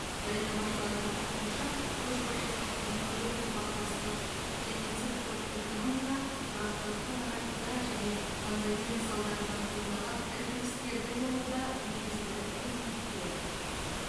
баяндамашылардың айтуынша көшбасшылық өңірлік ынтымақтастық және цифрлық экономика тұрақтылықты нығайтуда және пандемия салдарынан туындаған іркілістерді жоюда негізгі элементтер